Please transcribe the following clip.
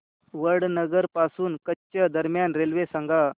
वडनगर पासून कच्छ दरम्यान रेल्वे सांगा